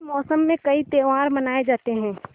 इस मौसम में कई त्यौहार मनाये जाते हैं